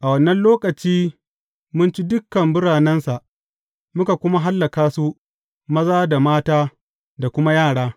A wannan lokaci mun ci dukan biranensa, muka kuma hallaka su, maza, mata da kuma yara.